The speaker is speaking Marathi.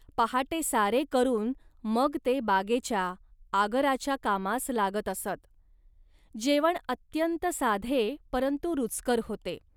पहाटे सारे करून मग ते बागेच्या, आगराच्या कामास लागत असत. जेवण अत्यंत साधे परंतु रुचकर होते